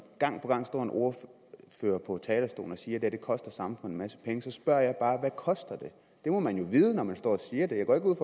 gang på gang står en ordfører på talerstolen og siger at det her koster samfundet en så spørger jeg bare hvad koster det det må man jo vide når man står og siger det jeg går ikke ud